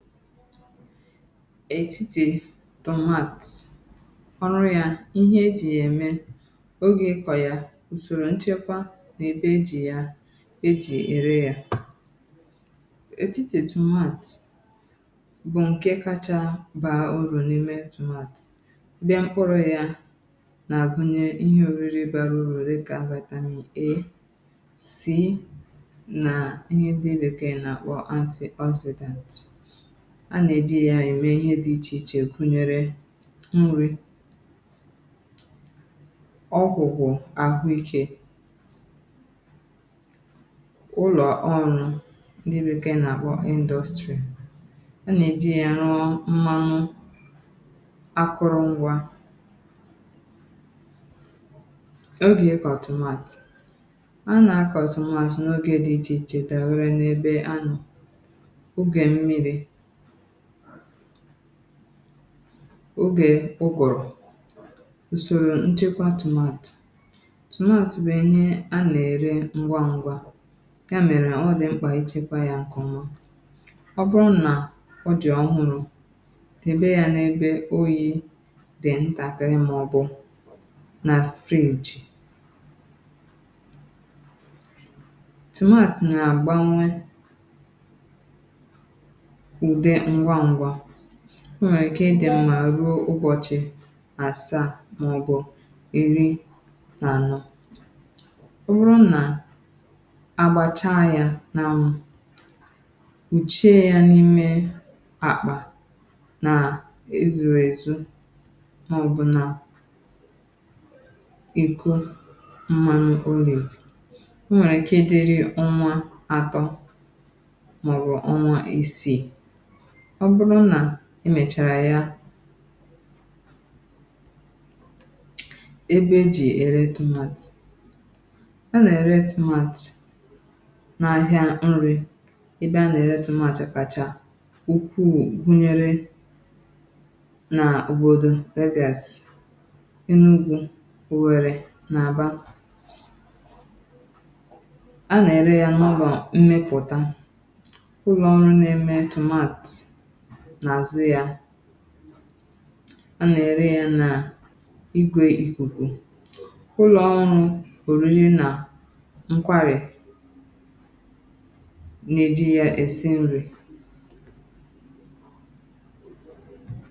Etitì tomat; ọrụ yȧ, ihe ejì yà ème, ogè ikọ̀ yà, ùsòrò nchekwa, nà-èbe ejì yà ejì ère yȧ. Etitì tomat bụ̀ ǹke kȧchȧ baa urù n’ime tomat. Bịa mkpụrụ̇ yȧ nà-àgụnye ihe ȯriri bara urù, di kà vitamin A, C, na ihe ndị bekee na akpọ anti-oxidant. A na-eji ya ere ihe dị iche iche gụnyere nri, okwụkwụ ahụ ike. Ụlọ ọrụ ndị bekee na-akpọ industry. A na-eji ya rụọ mmanụ akụrụngwa. Oge ịkọ tomat, a na-akọ tomat na oge dị iche iche dabere na ebe anọ. Oge mmiri, oge ụgụru. Usoro nchekwa tomat, tomat bụ̀ ihe a nà-ère ngwa ngwa, ya mere ọ dị mkpa ichekwa ya nke ọma. Ọ bụrụ na ọ dị ọhụrụ, debe ya na ebe oyị dị ntakịrị, maọbụ na fridge. Tomat na agbanwe ụdị ngwá ngwa, ọ nwere ike ịdị mma ruo ụbọchị asaa maọbụ ịrị na anọ. Ọ wụrụ na agbacha yà na anwụ, kpụchie ya n'ime akpa na ezuru ezu, maọbụ na ekụ mmanụ. nwere ike idiri ọnwa atọ maọbụ ọnwa isii. Ọ bụrụ na emechara ya. Ebe ejì ere tomat; a na-ere tomat n'ahia nri, ebe a nà-ère tomat kàchaà ukwuù gụnyere na obodo [, Enugu, Owerri na Aba. A nà-ère yà na ụlọ mmepụta, ụlọ ọrụ na eme tomat na azụ ya. A na ere yà na ìgwè ikuku. Ụlọ ọrụ oriri na nkwari na eji ya esị nri.